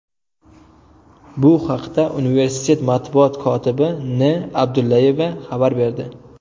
Bu haqda universitet matbuot kotibi N. Abdullayeva xabar berdi.